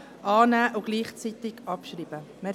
Annahme und gleichzeitige Abschreibung.